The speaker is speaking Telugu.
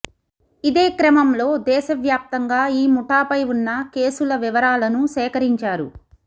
ఇదే క్రమంలో దేశవ్యాప్తంగా ఈ ముఠాపై ఉన్న కేసుల వివరాలను సేకరించారు